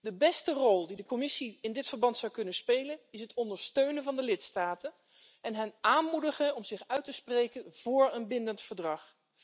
De beste rol die de Commissie in dit verband zou kunnen spelen is het ondersteunen van de lidstaten en hen aanmoedigen om zich uit te spreken voor een bindend verdrag.